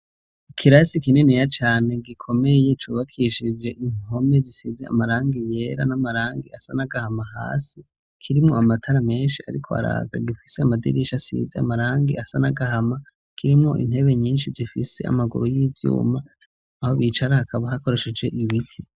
Ikirasi kininiya cane gikomeye cubakishije impome zisize amarangi yera n'amarangi asa n'agahama hasi; kirimwo amatara menshi ariko araka. Gifise amadirisha asize amarangi asa n'agahama; kirimwo intebe nyinshi zifise amaguru y'ivyuma aho bicara hakaba hakoresheje ibiti.